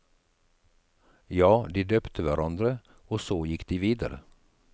Ja, de døpte hverandre, og så gikk de videre.